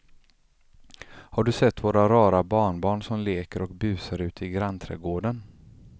Har du sett våra rara barnbarn som leker och busar ute i grannträdgården!